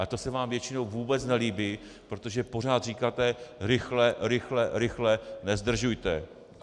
A to se vám většinou vůbec nelíbí, protože pořád říkáte "rychle, rychle, rychle, nezdržujte".